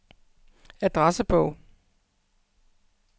adressebog